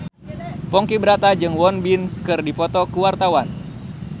Ponky Brata jeung Won Bin keur dipoto ku wartawan